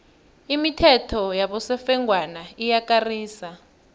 imithetho yabosofengwana iyakarisa